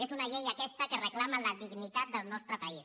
és una llei aquesta que reclama la dignitat del nostre país